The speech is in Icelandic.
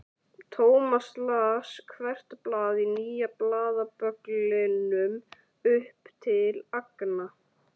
Thomas las hvert blað í nýja blaðabögglinum upp til agna.